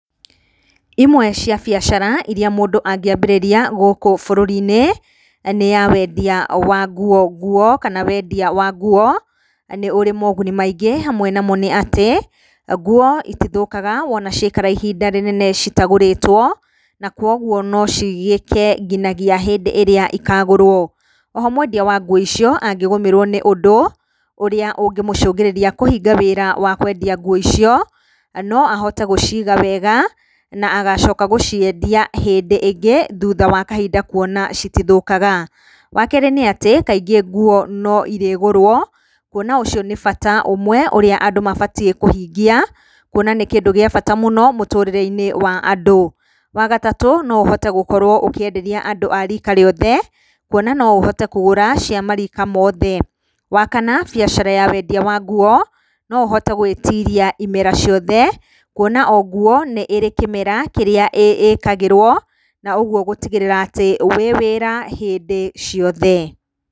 Imwe cia biacara iria mũndũ angĩambĩrĩria gũkũ bũrũri-inĩ nĩ ya wendia wa nguo nguo kana wenia wa nguo nĩ ũrĩ moguni maingĩ, hamwe namo nĩ atĩ; nguo itithũkaga wona ciaikara ihinda rĩnene citagũrĩtwo na koguo no cigĩke nginyagia hĩndĩ ĩrĩa ikagũrwo. O ho mwendia wa nguo icio angĩgũmĩrwo nĩ ũndũ ũrĩa ũngĩmũcũngĩrĩria kũhinge wĩra wa kwendia nguo icio no ahote gũciga wega na agacoka gũciendia hĩndĩ ĩngĩ thutha wa kahinda kuona citithũkaga. Wa keerĩ nĩ atĩ, kaingĩ nguo no irĩgũrwo kuona ũcio nĩ bata ũmwe ũrĩa andũ mabatie kuhingia, kuona nĩ kĩndũ gĩa bata mũno mũtũrĩre-inĩ wa andũ. Wa gatatũ no ũhote gũkorwo ũkĩenderia andũ a rika rĩothe, kuona na ũhote kũgũra cia marika mothe. Wa kana biacara ya wendia wa nguo, no ũhote gwĩtiria imera ciothe, kuona o nguo nĩ ĩrĩ kĩmera kĩrĩa ĩkagĩrwo na uguo gũtigĩrĩra atĩ wĩ wĩra hĩndĩ ciothe.